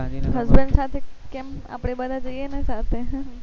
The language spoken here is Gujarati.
husband સાથે કેમ આપડે બધા જઈએ ને સાથે